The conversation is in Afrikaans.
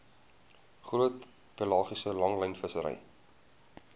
groot pelagiese langlynvissery